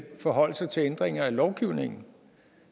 forholde sig til ændringer af lovgivningen